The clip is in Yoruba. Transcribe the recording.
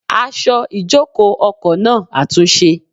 Aṣọ ìjòkó ọkọ̀ náà àtúnṣe.